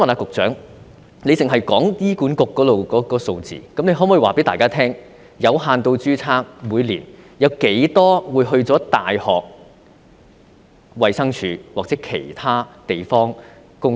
局長只提及醫管局的數字，她可否告訴大家，每年有多少名有限度註冊醫生到大學、衞生署或其他地方工作？